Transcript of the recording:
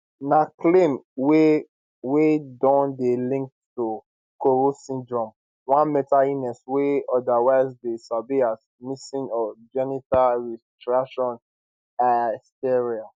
na claim wey wey don dey linked to koro syndrome one mental illness wey otherwise dey sabi as missing or genital retraction hysteria